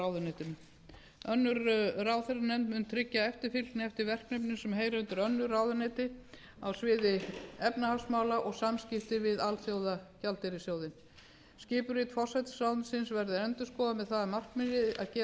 tryggingamálaráðuneytinu önnur ráðherranefnd mun tryggja eftirfylgni eftir verkefnum sem heyra undir önnur ráðuneyti á sviði efnahagsmála og samskipti við alþjóðagjaldeyrissjóðinn skipurit forsætisráðuneytisins verður endurskoðað með það að markmiði að gera því